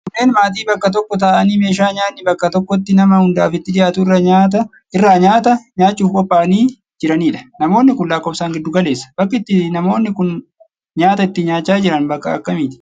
Kunneen maatii bakka tokko taa'anii meeshaa nyaanni bakka tokkotti nama hundaafuu itti dhiyaatu irraa nyaata nyaachuuf qophaa'anii jiraniidha. Namoonni kun lakkoofsaan giddu galeessa. Bakki itti namoonni kun nyaata itti nyaachaa jiran bakka akkamiiti?